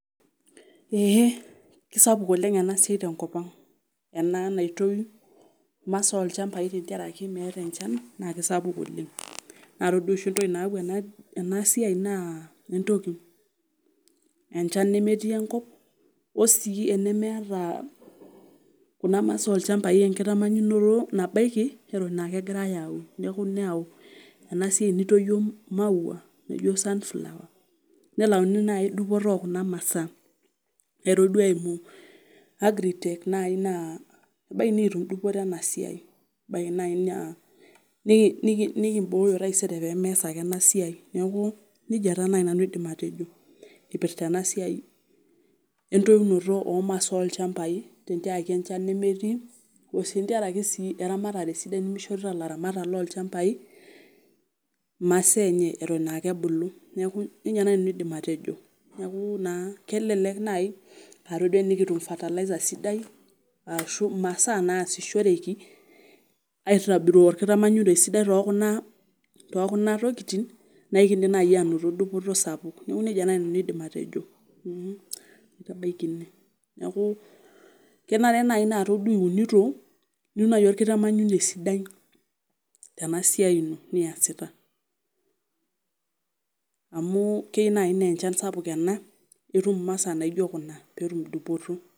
Eeh kisapuk oleng ena siai tenkop ang ena naitoyu imasaa olchambai tenkarake meeta enchan naa kisapuk oleng naa todua oshi entoki nayau ena ena siai naa entoki enchan nemetii enkop osii enemeeta kuna masaa olchambai enkitamanyunoto nabaiki eton akegirae aun neeku neyau ena siai nitoyio imaua naijo sunflower nelauni naai dupoto okuna masaa toduo eimu agritech naai naa ebaiki nikitum dupoto ena siai ebaiki naai naa niki niki nikimbooyo taisere pemeesa ake ena siai niaku nejia taa naai nanu aidim atejo ipirta ena siai entoyunoto omasaa olchambai tentiarake enchan nemetii osii ntiarake sii eramatare sidai nemishorita ilaramatak lolchambai imasaa enye eton akebulu neeku nejia naai nanu aidim atejo niaku naa kelelek naai atodua enikitum fertilizer sidai ashu imasaa naasishoreki aitobiru orkitamanyunei sidai tokuna tokuna tokitin naikindim naai anoto dupoto sapuk neku nejia naai nanu aidim atejo mh naitabaiki ine neeku kenare naai naa todua iunito niun naajii orkitamanyune sidai tena siai ino niasita amu kei naai naa enchan sapuk ena itum imasaa naijio kuna peetum dupoto.